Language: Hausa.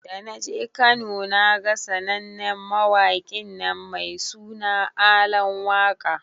Da naje Kano naga sanannen mawaƙinnan mai suna Alan waka.